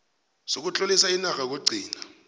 sokutlolisa inarha yokugcina